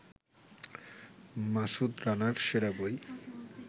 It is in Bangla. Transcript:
মাসুদ রানার সেরা বই